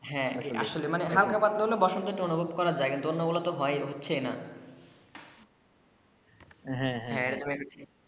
হ্যা হ্যা হালকা পাতলা হলে বসন্ত একটু অনুভব করা যাই অন্য গুলা তো হচ্ছেই না